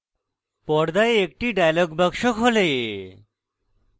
পর্দায় একটি dialog box খোলে